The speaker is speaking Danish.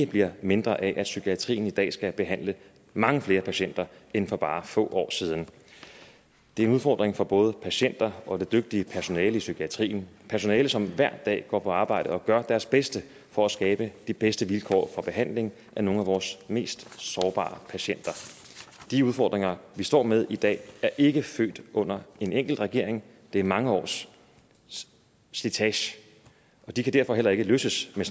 bliver mindre af at psykiatrien i dag skal behandle mange flere patienter end for bare få år siden det er en udfordring for både patienter og det dygtige personale i psykiatrien personalet som hver dag går på arbejde og gør deres bedste for at skabe de bedste vilkår for behandling af nogle af vores mest sårbare patienter de udfordringer vi står med i dag er ikke født under en enkelt regering det er mange års slitage og de kan derfor heller ikke løses med